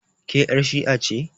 Ke yar' shi'a ce?